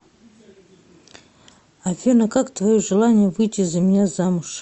афина как твое желание выйти за меня замуж